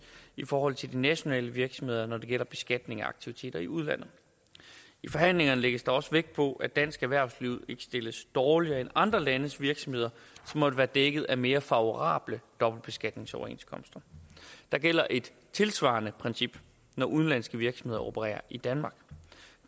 i forhold til de nationale virksomheder når det gælder beskatning af aktiviteter i udlandet i forhandlingerne lægges der også vægt på at dansk erhvervsliv ikke stilles dårligere end andre landes virksomheder som måtte være dækket af mere favorable dobbeltbeskatningsoverenskomster der gælder et tilsvarende princip når udenlandske virksomheder opererer i danmark